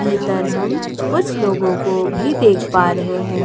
भीतर हम कुछ लोगों को भी देख पा रहे हैं।